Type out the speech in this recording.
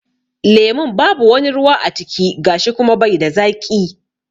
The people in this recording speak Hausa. Lemun babu wani ruwa a ciki gashi kuma bai da zaƙi.